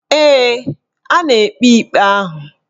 Ee, a na-ekpe ikpe ahụ